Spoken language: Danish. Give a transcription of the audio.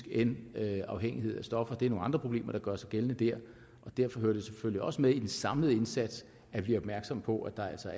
end afhængighed af stoffer det er nogle andre problemer der gør sig gældende der derfor hører det selvfølgelig også med i den samlede indsats at vi er opmærksomme på at der altså